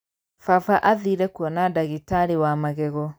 Baba athire kuona ndagĩtarĩwa magego.